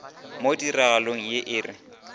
mo tiragalong ye e re